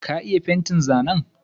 Na iya fentin zanen.